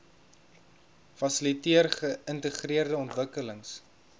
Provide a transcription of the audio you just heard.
fasiliteer geïntegreerde ontwikkelings